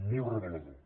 molt revelador